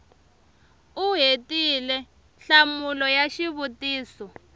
u hetile nhlamulo ya xivutiso